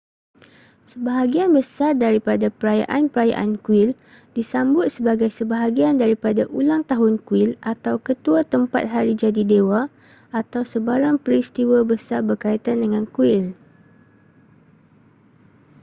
sebahagian besar daripada perayaan-perayaan kuil disambut sebagai sebahagian daripada ulang tahun kuil atau ketua tempat hari jadi dewa atau sebarang peristiwa besar berkaitan dengan kuil